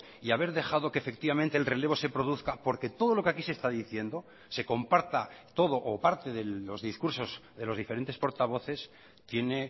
y haber dejado que efectivamente el relevo se produzca porque todo lo que aquí se está diciendo se comparta todo o parte de los discursos de los diferentes portavoces tiene